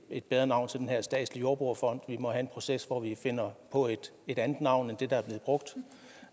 et bedre navn til den her statslige jordbrugerfond vi må have en proces hvor vi finder et andet navn end det der